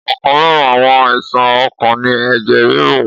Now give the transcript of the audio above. Ọ̀kan lára àwọn àìsàn ọkàn ni ẹ̀jẹ̀ ríru